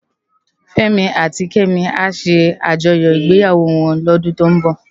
Femi áti Kemi á sé ájòyò igbéyáwò wòn lòdún tó n bò